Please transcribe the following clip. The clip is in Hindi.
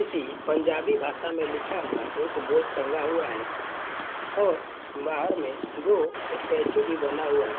पंजाबी भाषा में लिखा हुआ एक बोर्ड टंगा हुआ है और बाहर में दो स्टेच्यू भी बना हुआ है।